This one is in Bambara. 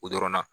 O dɔrɔn na